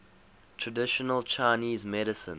traditional chinese medicine